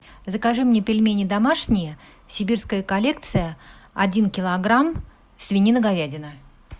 закажи мне пельмени домашние сибирская коллекция один килограмм свинина говядина